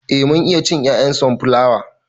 Eh mun iya cin 'ya'yan sonflawa.